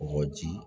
Kɔji